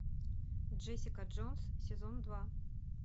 джессика джонс сезон два